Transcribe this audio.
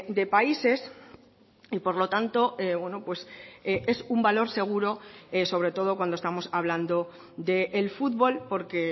de países y por lo tanto es un valor seguro sobre todo cuando estamos hablando del futbol porque